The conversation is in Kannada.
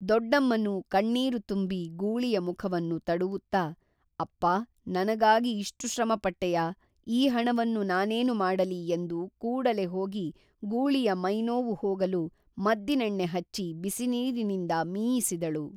ದೊಡ್ಡಮ್ಮನು ಕಣ್ಮೀರು ತುಂಬಿ ಗೂಳಿಯ ಮುಖವನ್ನು ತಡವುತ್ತ, ಅಪ್ಪಾ ನನಗಾಗಿ ಇಷ್ಟು ಶ್ರಮ ಪಟ್ಟೆಯಾ ಈ ಹಣವನ್ನು ನಾನೇನು ಮಾಡಲಿ ಎಂದು ಕೂಡಲೇ ಹೋಗಿ ಗೂಳಿಯ ಮೈನೋವು ಹೋಗಲು ಮದ್ದಿನೆಣ್ಣೆ ಹಚ್ಚಿ ಬಿಸಿನೀರಿನಿಂದ ಮೀಯಿಸಿದಳು